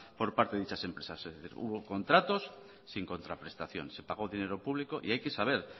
por parte de dichas empresas hubo contratos sin contraprestaciones se pagó dinero público y hay que saber